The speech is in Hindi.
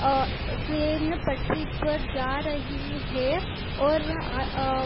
अ ट्रेन पटरी पर जा रही है और अ--